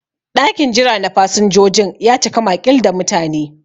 Ɗakin jira na fasinjojin ya cika maƙil da mutane.